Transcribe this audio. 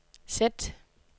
sæt